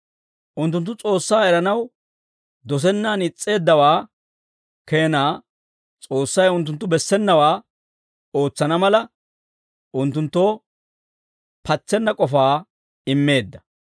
Unttunttu S'oossaa eranaw dosennaan is's'eeddawaa keenaa S'oossay unttunttu bessenawaa ootsana mala, unttunttoo patsenna k'ofaa immeedda.